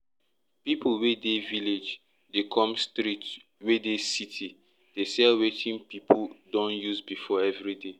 pipu wey dey village dey come street wey dey city dey sell wetin pipu don use before every day